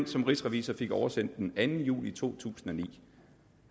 som rigsrevisor fik oversendt den anden juli to tusind og ni